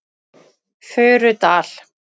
Furudal